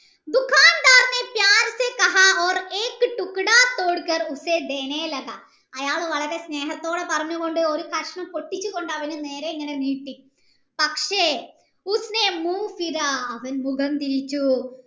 അയാൾ വളരെ സ്‌നേഹത്തോടെ പറഞ്ഞു കൊണ്ട് ഒരു കഷ്ണം പൊട്ടിച്ചു കൊണ്ട് അവനു നേരെ ഇങ്ങനെ നീട്ടി പക്ഷെ അവൻ മുഖം തിരിച്ചു